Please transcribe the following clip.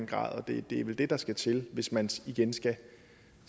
grad det er vel det der skal til hvis man igen